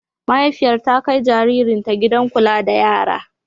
Mahaifiyar ta kai jaririnta gidan kula da yara.